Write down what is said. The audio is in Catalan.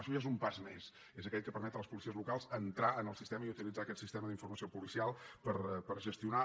això ja és un pas més és aquell que permet a les policies locals entrar en el sistema i utilitzar aquest sistema d’informació policial per gestionar